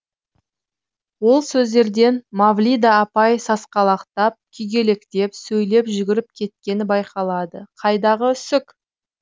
ол сөздерден мавлида апай сасқалақтап күйгелектеп сөйлеп жүгіріп кеткені байқалады қайдағы үсік